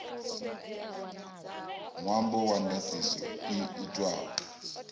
ṅwambo wa ndaṱiso i itwaho